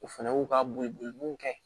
O fɛnɛ y'u ka boli boliw kɛ